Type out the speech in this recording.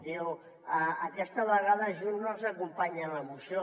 diu aquesta vegada junts no els acompanya en la moció